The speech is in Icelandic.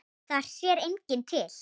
Þar sér enginn til.